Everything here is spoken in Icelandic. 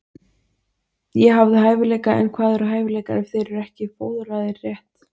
Ég hafði hæfileika en hvað eru hæfileikar ef þeir eru ekki fóðraðir rétt?